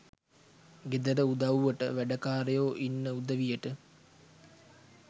ගෙදර උදව්වට වැඩකාරයෝ ඉන්න උදවියට